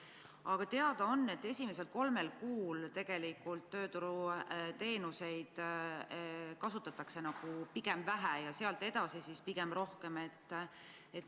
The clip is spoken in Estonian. Aga teada on, et esimesel kolmel kuul tegelikult tööturuteenuseid kasutatakse pigem vähe ja sealt edasi pigem rohkem.